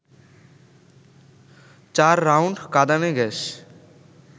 চার রাউন্ড কাঁদানে গ্যাস